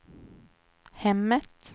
hemmet